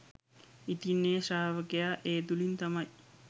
ඉතින් ඒ ශ්‍රාවකයා ඒ තුළින් තමයි